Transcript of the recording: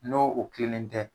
N'o o kelen tɛ